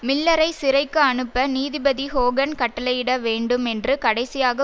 மில்லரை சிறைக்கு அனுப்ப நீதிபதி ஹோகன் கட்டளையிட வேண்டும் என்று கடைசியாக